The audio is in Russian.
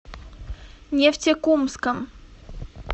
нефтекумском